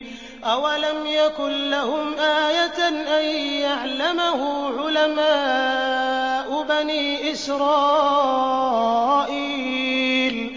أَوَلَمْ يَكُن لَّهُمْ آيَةً أَن يَعْلَمَهُ عُلَمَاءُ بَنِي إِسْرَائِيلَ